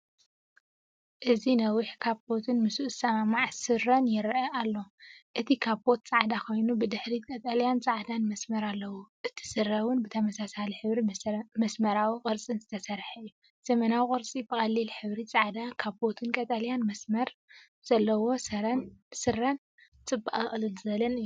እዚ ነዊሕ ካቦትን ምስኡ ዝሰማማዕ ሱሩን የርኢ። እቲ ካቦት ጻዕዳ ኮይኑ፡ብድሕሪት ቀጠልያን ጻዕዳን መስመር ኣለዎ። እቲ ስረ እውን ብተመሳሳሊ ሕብርን መስመራዊ ቅርጽን ዝተሰርሐ እዩ። ዘመናዊ ቅርጺ ብቐሊል ሕብሪ! ጻዕዳ ካቦትን ቀጠልያ መስመር ዘለዎ ስረን ጽባቐ ቅልል ዝበለን እዩ።